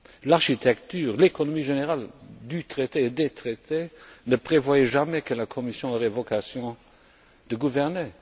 L'architecture, l'économie générales du traité, des traités ne prévoient jamais que la Commission ait vocation de gouverner.